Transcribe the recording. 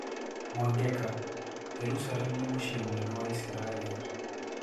Mwangeka: Jerusalem nĩ muciĩ mũnene wa Isiraeli.